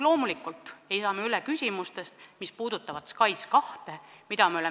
Loomulikult ei saa me üle küsimustest, mis puudutavad SKAIS2.